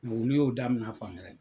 Olu y'o daminɛ fan wɛrɛ.